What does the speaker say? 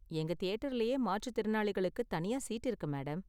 எங்க தியேட்டர்லயே மாற்றுத்திறனாளிகளுக்கு தனியா சீட் இருக்கு மேடம்.